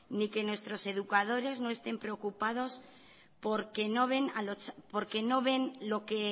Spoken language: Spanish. ni que nuestros educadores no estén preocupados porque no ven lo que